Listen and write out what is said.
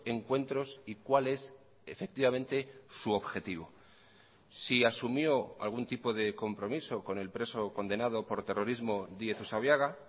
encuentros y cuál es efectivamente su objetivo si asumió algún tipo de compromiso con el preso condenado por terrorismo díez usabiaga